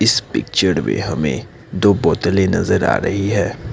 इस पिक्चर में हमें दो बोतल नजर आ रही है।